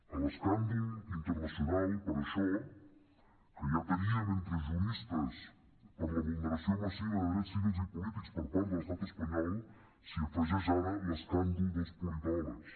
a l’escàndol internacional per això que ja tenien entre juristes per la vulneració massiva de drets civils i polítics per part de l’estat espanyol s’hi afegeix ara l’escàndol dels politòlegs